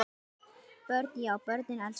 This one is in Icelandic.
Björn: Já börnin elska það?